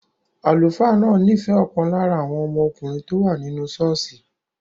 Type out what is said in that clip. Àlùfáà náà nífẹ̀ẹ́ ọ̀kan lára àwọn ọmọkùnrin tó wà nínú ṣọ́ọ̀ṣì